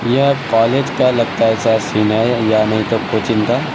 यह कॉलेज का लगता है शायद सीन है या नहीं तो कोचिंग का--